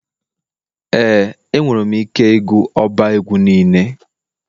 Ee enwere m ike ịgụ ọba egwu niile.